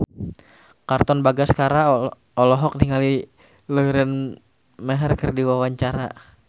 Katon Bagaskara olohok ningali Lauren Maher keur diwawancara